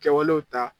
Kɛwalew ta